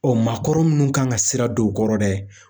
Ɔ maakɔrɔ minnu kan ka sira don o kɔrɔ dɛ